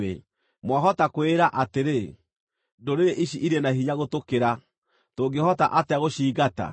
Mwahota kwĩĩra atĩrĩ, “Ndũrĩrĩ ici irĩ na hinya gũtũkĩra. Tũngĩhota atĩa gũciingata?”